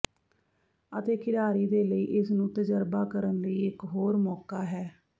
ਅਤੇ ਖਿਡਾਰੀ ਦੇ ਲਈ ਇਸ ਨੂੰ ਤਜਰਬਾ ਕਰਨ ਲਈ ਇਕ ਹੋਰ ਮੌਕਾ ਹੈ